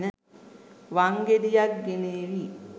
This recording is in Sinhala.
වංගෙඩියක් ගෙනේවි